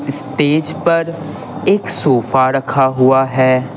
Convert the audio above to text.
Stage पर एक sofa रखा हुआ है।